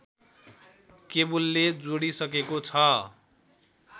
केबुलले जोडिसकेको छ